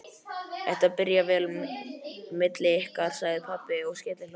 Þetta byrjar vel milli ykkar, sagði pabbi og skellihló.